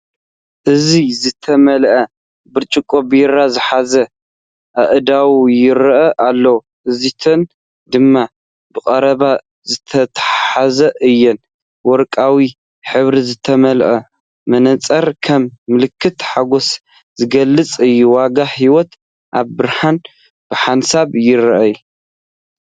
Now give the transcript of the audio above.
እዚ ዝተመልአ ብርጭቆ ቢራ ዝሓዛ ኣእዳው ይረኣ ኣለዋ። እዚኣተን ድማ ብቐረባ ዝተታሕዛ እየን ።ወርቃዊ ሕብሪ ዝተመልአ መነጽር፡ ከም ምልክት ሓጎስ ዝገልጽ እዩ። ዋጋ ህይወት ኣብ ብርሃን ብሓንሳብ ይርአ።